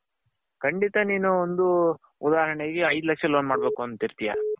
ಖಂಡಿತ ನೀನು ಒಂದು ಉದಾಹರಣೆ ಗೆ ಒಂದು ಏದು ಲಕ್ಷ loan ಮಾಡ್ಬೇಕ್ ಅಂತಿ ಇರತಿಯಾ